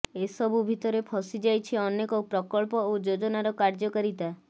ଏସବୁ ଭିତରେ ଫସିଯାଇଛି ଅନେକ ପ୍ରକଳ୍ପ ଓ ଯୋଜନାର କାର୍ଯ୍ୟକାରିତା